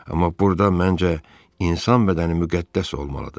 Amma burda məncə insan bədəni müqəddəs olmalıdır.